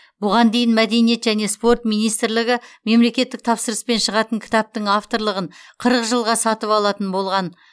бұған дейін мәдениет және спорт министрлігі мемлекеттік тапсырыспен шығатын кітаптың авторлығын қырық жылға сатып алатын болған